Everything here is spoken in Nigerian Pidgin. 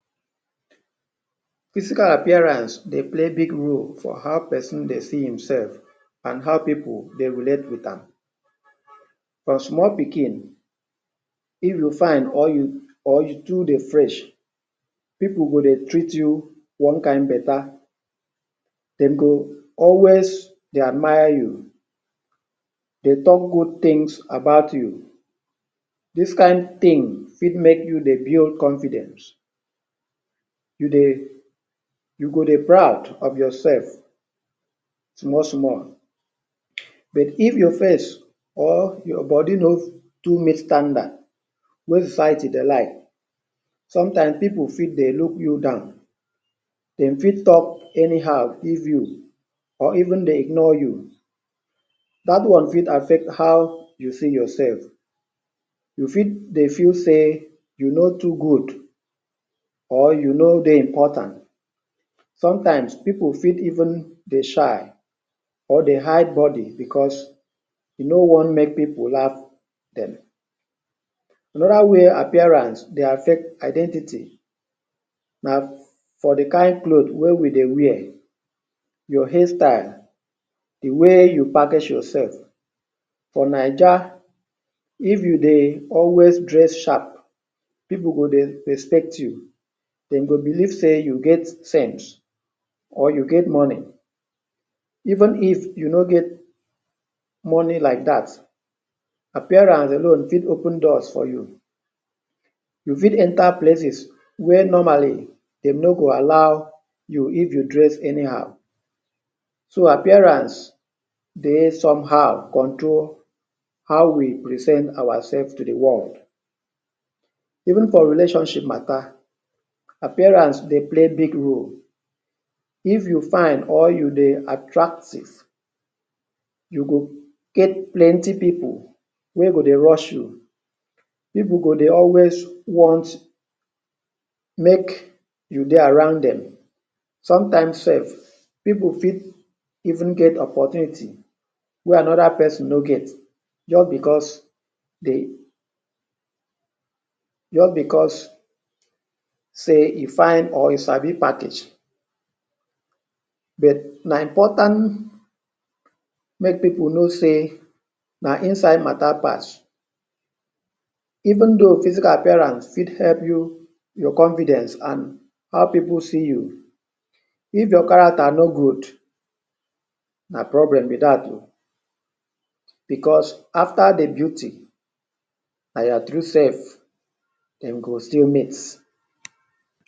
Physical appearance dey play big role for how pesin dey see himself and how people dey relate with am. From small pikin, if you fine or you or you too dey fresh, pipu go dey treat you one kind better. They go always dey admire you, dey talk good things about you. Dis kind thing fit make you dey build confidence. You dey you go dey proud of yourself, small, small. But if your face or your body no too meet standard wey the society dey like, sometimes pipu fit dey look you down. They fit talk anyhow give you or even dey ignore you. Dat one fit affect how you see yourself. You fit dey feel sey you no too good or you no dey important. Sometimes pipu fit even dey shy or dey hide body because they no want make pipu laugh dem. Another way appearance dey affect identity na for the kind cloth wey we dey wear, your hairstyle, the way you package yourself. For Naija, if you dey always dress sharp, pipu go dey respect you. They go believe sey you get cents or you get money. Even if you no get money like dat, appearance alone fit open doors for you. You fit enter places wey normally, they no go allow you if you dress anyhow. So, appearance dey somehow control how we present ourself to the world. Even for relationship matter, appearance dey play big role. If you fine or you dey attractive, you go get plenty pipu wey go dey rush you. Pipu go dey always want make you dey around dem. Sometimes self, pipu fit even get opportunity where another pesin no get, just because they just because sey e fine or e sabi package. But na important make pipu know sey, na inside matter pass. Even though physical appearance fit help you, your confidence and how pipu see you, If your character no good, na problem be dat oh. Because after the beauty, na your true self, de go still meet.